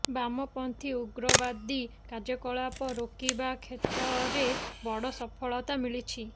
ବାମପନ୍ଥୀ ଉଗ୍ରବାଦୀ କାର୍ଯ୍ୟକଳାପ ରୋକିବା କ୍ଷେତ୍ରରେ ବଡ ସଫଳତା ମିଳିଛି